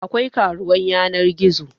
Akwai karuwan yanar gizo yanzu